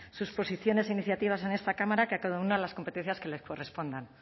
sus posiciones e iniciativas i en esta cámara que a cada uno las competencias que le correspondan